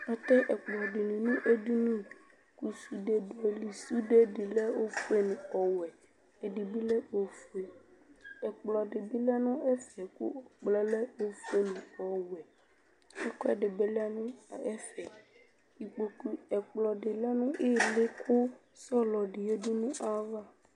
Atɛ ɛkplɔdini nu edini ku sude du ayili sude di ɛdini lɛ oƒue nu ɔwɛ ɛkplɔdibi lɛ nu ɛfɛ ofue nu ɔwɛ ɛkudi dibi lɛ nu ɛfɛ ɛkplɔdi lɛ nu ili ku sɔlɔ di yadu nayava